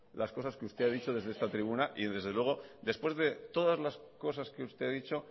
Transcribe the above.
las cosas que usted ha dicho desde esta tribuna y desde luego después de todas las cosas que usted ha dicho